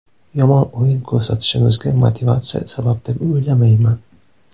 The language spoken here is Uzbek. Yomon o‘yin ko‘rsatishimizga motivatsiya sabab deb o‘ylamayman.